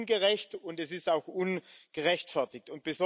Das ist ungerecht, und das ist auch ungerechtfertigt.